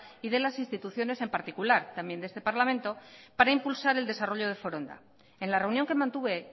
y de las instituciones en particular también de este parlamento para impulsar el desarrollo de foronda en la reunión que mantuve